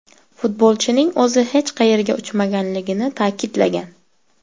Futbolchining o‘zi hech qayerga uchmaganligini ta’kidlagan.